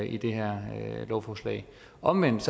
i det her lovforslag omvendt